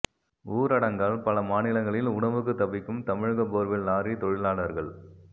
ஊரடங்கால் பல மாநிலங்களில் உணவுக்கு தவிக்கும் தமிழக போர்வெல் லாரி தொழிலாளர்கள்